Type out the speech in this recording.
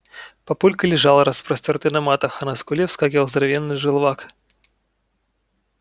папулька лежал распростёртый на матах а на скуле вскакивал здоровенный желвак